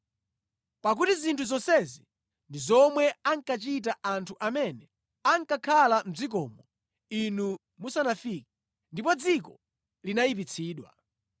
pakuti zinthu zonsezi ndi zomwe ankachita anthu amene ankakhala mʼdzikomo inu musanafike, ndipo dziko linayipitsidwa.